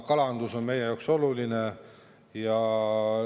Kalandus on meie jaoks oluline.